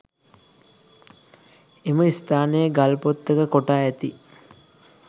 එම ස්ථානයේ ගල්පොත්තක කොටා ඇති